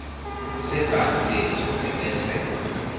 sebhangi lethu ebese